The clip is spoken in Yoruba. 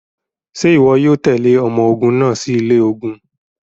Ṣe iwọ yoo tẹle ọmọ ogun naa si ilẹ ogun?